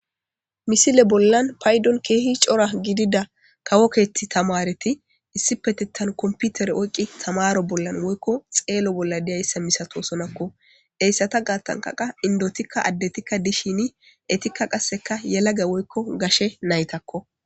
Misile bollan paydon keehi cora gidida kawokeeti tamareti issi petettan komputere oyqi tamaro bollan woykko xeelo bolla diyayssa misato sonakko heyssata gaattankaqa indotikka addetikka dishini etikka qasseka yelage woykko gashe naytakko.